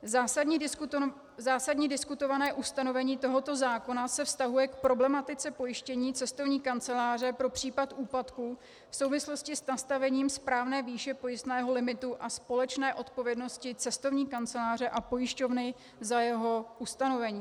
Zásadní diskutované ustanovení tohoto zákona se vztahuje k problematice pojištění cestovní kanceláře pro případ úpadku v souvislosti s nastavením správné výše pojistného limitu a společné odpovědnosti cestovní kanceláře a pojišťovny za jeho ustanovení.